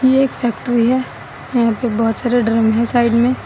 ये एक फैक्ट्री है यहां पे बहुत सारे ड्रम है साइड में।